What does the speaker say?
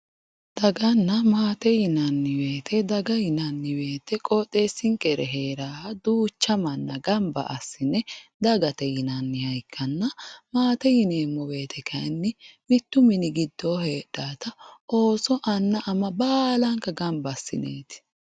Daganna maate yinanni woyiite daga yinanni woyiite qooxeesinkera heeraaha duucha manna gamba assine dagate yinanniha ikkanna. maate yineemmo woyiite kaayiinni mittu mini giddo heedaata ooso anna ama baalank gamba assineeti.